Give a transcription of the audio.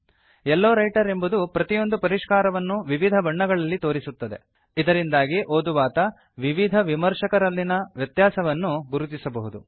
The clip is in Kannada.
ಲೋ ರೈಟರ್ ಎಂಬುದು ಪ್ರತಿಯೊಂದು ಪರಿಷ್ಕಾರವನ್ನೂ ವಿವಿಧ ಬಣ್ಣಗಳಲ್ಲಿ ತೋರಿಸುತ್ತದೆ ಇದರಿಂದಾಗಿ ಓದುವಾತ ವಿವಿಧ ವಿಮರ್ಶಕರಲ್ಲಿನ ವ್ಯತ್ಯಾಸವನ್ನು ಗುರುತಿಸಬಹುದು